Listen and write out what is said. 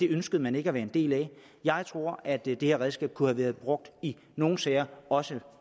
ønskede man ikke at være en del af jeg tror at det her redskab kunne have været brugt i nogle sager også